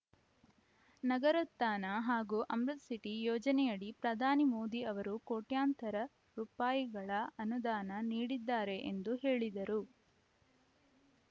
ನಗರೋತ್ಥಾನ ಹಾಗೂ ಅಮೃತ್‌ ಸಿಟಿ ಯೋಜನೆಯಡಿ ಪ್ರಧಾನಿ ಮೋದಿ ಅವರು ಕೋಟ್ಯಂತರ ರೂಪಾಯಿ ಗಳ ಅನುದಾನ ನೀಡಿದ್ದಾರೆ ಎಂದು ಹೇಳಿದರು